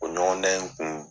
O ɲɔgɔndan in kun.